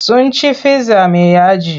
Sun ci fizza mai yaji.